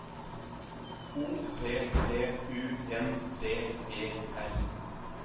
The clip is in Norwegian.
O P P U N D E R